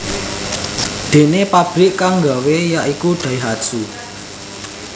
Déné pabrik kang nggawé ya iku Daihatsu